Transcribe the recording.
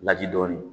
Laji dɔɔnin